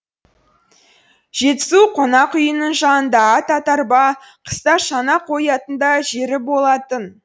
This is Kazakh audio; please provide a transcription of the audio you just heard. жетісу қонақ үйінің жанында ат атарба қыста шана қоятын да жері болатын